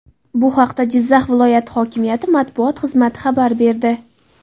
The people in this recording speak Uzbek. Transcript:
Bu haqda Jizzax viloyati hokimiyati matbuot xizmati xabar berdi .